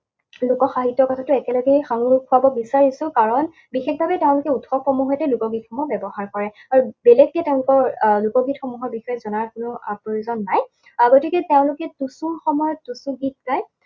লোকসাহিত্যৰ কথাটো একেলগেই সাঙোৰ খুৱাব বিছাৰিছো কাৰণ বিশেষভাৱে তেওঁলোকে উৎসৱসমূহৰ সৈতে লোকগীতসমূহ ব্যৱহাৰ কৰে। আৰু বেলেগকে তেওঁলোকৰ আহ লোকগীতসমূহৰ বিষয়ে জনাৰ কোনো আহ প্ৰয়োজন নাই। গতিকে তেওঁলোকে টুচুৰ সময়ত টুচু গীত গায়।